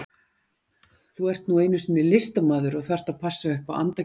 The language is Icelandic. Þú ert nú einu sinni listamaður og þarft að passa upp á andagiftina.